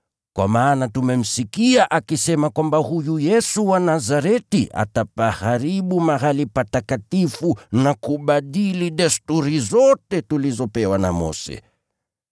Kwa maana tumemsikia akisema kwamba Yesu wa Nazareti atapaharibu mahali patakatifu na kubadili desturi zote tulizopewa na Mose.”